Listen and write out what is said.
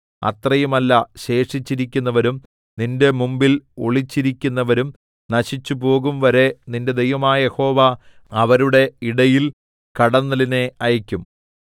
അത്രയുമല്ല ശേഷിച്ചിരിക്കുന്നവരും നിന്റെ മുമ്പിൽ ഒളിച്ചിരിക്കുന്നവരും നശിച്ചുപോകുംവരെ നിന്റെ ദൈവമായ യഹോവ അവരുടെ ഇടയിൽ കടന്നലിനെ അയയ്ക്കും